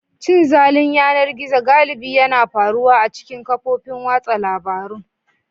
Cin zalin yanar gizo galibi yana faruwa a cikin kafofin watsa labarun.